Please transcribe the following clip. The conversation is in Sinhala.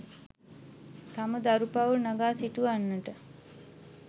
තම දරු පවුල් නගා සිටුවන්නට